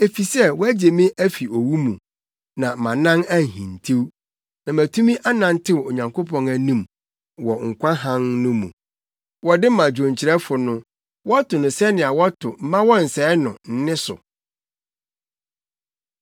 Efisɛ, woagye me afi owu mu, na mʼanan anhintiw, na matumi anantew Onyankopɔn anim wɔ nkwa hann no mu. Wɔde ma dwonkyerɛfo no. Wɔto no sɛnea wɔto “Mma Wɔnnsɛe No” nne so.